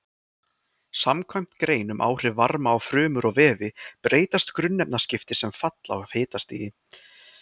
Samkvæmt grein um áhrif varma á frumur og vefi breytast grunnefnaskipti sem fall af hitastigi.